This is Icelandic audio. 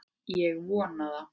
Ég vona það!